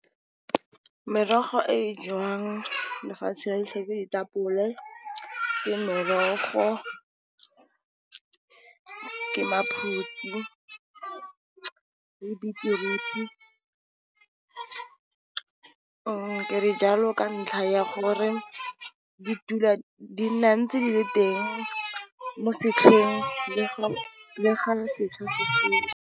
Merogo e jewang lefatshe lotlhe, ke ditapole, ke merogo , ke maphutsi , le betiruti , ke re jalo ka ntlha ya gore di nna ntse di le teng mo setlhopheng le fa .